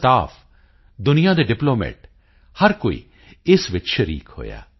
ਦਾ staff ਦੁਨੀਆ ਦੇ diplomat ਹਰ ਕੋਈ ਇਸ ਵਿੱਚ ਸ਼ਰੀਕ ਹੋਇਆ